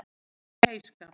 Í heyskap